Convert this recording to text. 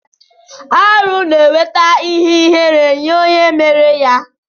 Arụ na eweta ihe ihere nye onye mere ya.